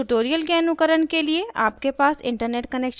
इस ट्यूटोरियल के अनुकरण के लिए आपके पास इंटरनेट कनैक्शन होना आवश्यक है